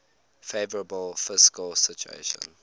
favourable fiscal situation